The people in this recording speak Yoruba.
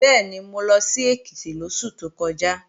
Bẹ́ẹ̀ni, mo lọ sí Èkìtì lóṣù tó kọjá